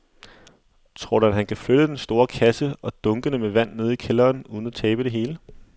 Tror du, at han kan flytte den store kasse og dunkene med vand ned i kælderen uden at tabe det hele?